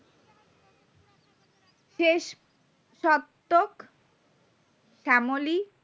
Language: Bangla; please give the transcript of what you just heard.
শেষ শতক শ্যামলী